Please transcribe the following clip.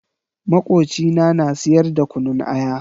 Makocina na siyar da kunun aya.